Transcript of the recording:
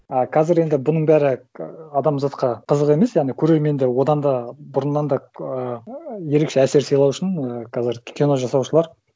ы қазір енді бұның бәрі адамзатқа қызық емес яғни көрермендер одан да бұрыннан да ааа ерекше әсер сыйлау үшін і қазір кино жасаушылар